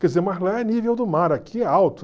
Quer dizer, mas lá é nível do mar, aqui é alto.